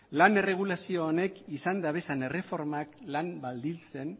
lan erregulazio honek izan dituen erreformak lan baldintzen